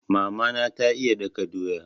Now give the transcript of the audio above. Mama na ta iya daka doya.